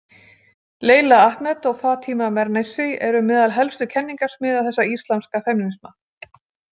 Leila Ahmed og Fatima Mernissi eru meðal helstu kenningasmiða þessa íslamska femínisma.